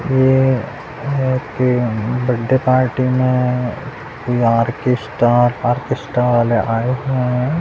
ये happy birthday party मे कोई ऑर्केस्ट्रा ऑर्केस्ट्रा वाले आए हुए है।